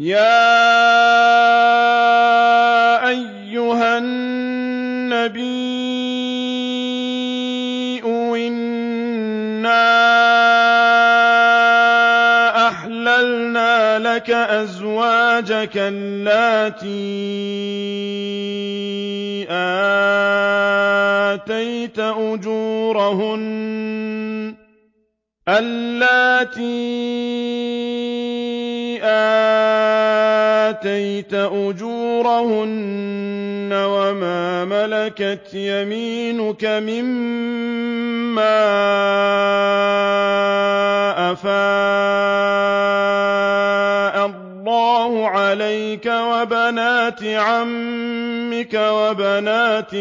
يَا أَيُّهَا النَّبِيُّ إِنَّا أَحْلَلْنَا لَكَ أَزْوَاجَكَ اللَّاتِي آتَيْتَ أُجُورَهُنَّ وَمَا مَلَكَتْ يَمِينُكَ مِمَّا أَفَاءَ اللَّهُ عَلَيْكَ وَبَنَاتِ عَمِّكَ وَبَنَاتِ